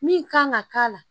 Min kan ka k'a la